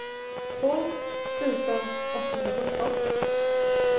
tolv tusen åttahundrasjutton